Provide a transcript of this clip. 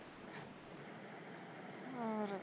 ਹੋਰ